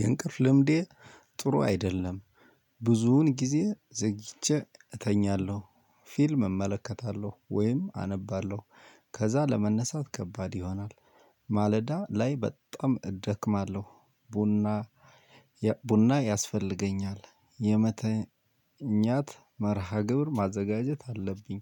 የእንቅልፍ ልምዴ ጥሩ አይደለም። ብዙውን ጊዜ ዘግቼ እተኛለሁ ፊልም እመለከታለሁ ወይም አነባለሁ። ከዛ ለመነሳት ከባድ ይሆናል። ማለዳ ላይ በጣም እዳከማለሁ። ቡና ቡና ያስፈልገኛል። የመተኛት መርሃ ግብር ማዘጋጀት አለብኝ።